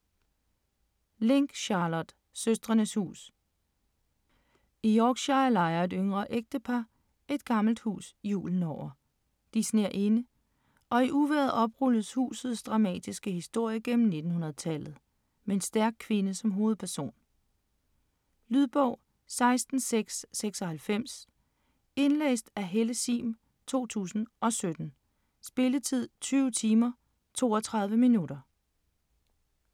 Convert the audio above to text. Link, Charlotte: Søstrenes hus I Yorkshire lejer et yngre ægtepar et gammelt hus julen over. De sner inde, og i uvejret oprulles husets dramatiske historie gennem 1900-tallet , med en stærk kvinde som hovedperson. Lydbog 16696 Indlæst af Helle Sihm, 2007. Spilletid: 20 timer, 32 minutter.